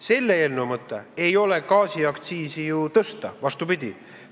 Selle eelnõu mõte ei ole gaasiaktsiisi tõsta – vastupidi.